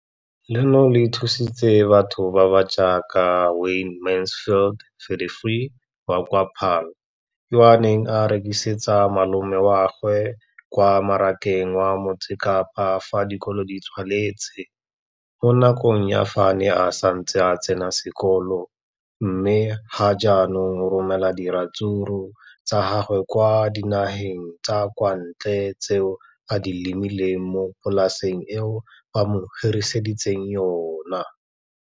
Leno le thusitse batho ba ba jaaka Wayne Mansfield, 33, wa kwa Paarl, yo a neng a rekisetsa malomagwe kwa Marakeng wa Motsekapa fa dikolo di tswaletse, mo nakong ya fa a ne a santse a tsena sekolo, mme ga jaanong o romela diratsuru tsa gagwe kwa dinageng tsa kwa ntle tseo a di lemileng mo polaseng eo ba mo hiriseditseng yona.